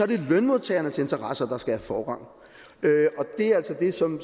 det lønmodtagernes interesser der skal have forrang det er altså det som